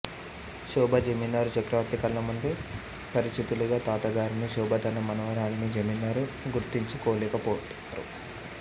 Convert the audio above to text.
శోభ జమీందారు చక్రవర్తి కళ్ళముందు పరిచితులుగా తాతగారని శోభ తన మనవరాలని జమీందారు గుర్తించుకోలేకపోతారు